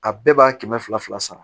A bɛɛ b'a kɛmɛ fila fila sara